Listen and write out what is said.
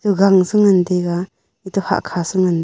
eto gang chu ngan taiga eto hahkha chu ngan taiga.